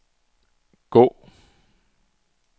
gå